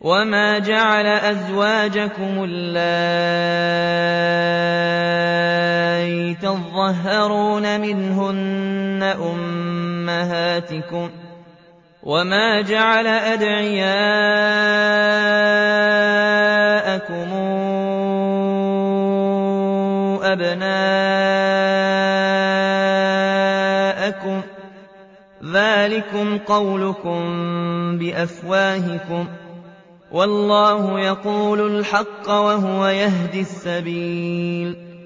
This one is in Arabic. وَمَا جَعَلَ أَزْوَاجَكُمُ اللَّائِي تُظَاهِرُونَ مِنْهُنَّ أُمَّهَاتِكُمْ ۚ وَمَا جَعَلَ أَدْعِيَاءَكُمْ أَبْنَاءَكُمْ ۚ ذَٰلِكُمْ قَوْلُكُم بِأَفْوَاهِكُمْ ۖ وَاللَّهُ يَقُولُ الْحَقَّ وَهُوَ يَهْدِي السَّبِيلَ